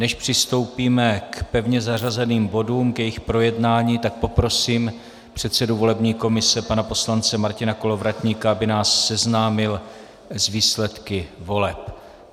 Než přistoupíme k pevně zařazeným bodům, k jejich projednání, tak poprosím předsedu volební komise pana poslance Martina Kolovratníka, aby nás seznámil s výsledky voleb.